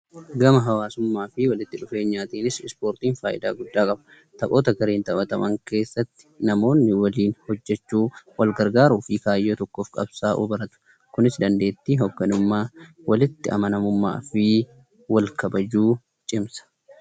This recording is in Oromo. Gama hawwaasummaa fi walitti dhufeenyaatiinis ispoortiin faayidaa guddaa qaba. Taphoota gareen taphataman keessatti namoonni waliin hojjechuu, wal gargaaruu fi kaayyoo tokkoof qabsaa'uu baratu. Kunis dandeettii hoogganamummaa, walitti amanamummaa fi wal kabajuu cimsa.